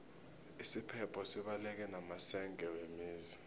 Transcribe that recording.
isiphepho sibaleke namasenge wemizi